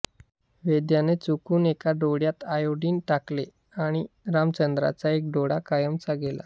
वैद्याने चुकून एका डोळ्यात आयोडीन टाकले आणि रामचंद्रांचा एक डोळा कायमचा गेला